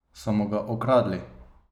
So mu ga ukradli?